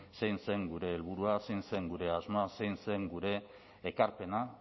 zein zen gure helburua zein zen gure asmoa zein zen gure ekarpena